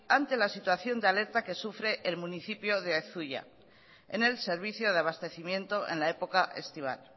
ante la situación de alerta que sufre el municipio de zuia en el servicio de abastecimiento en la época estival